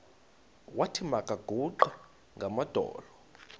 wathi makaguqe ngamadolo